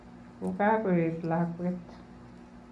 Kokakoet lakwet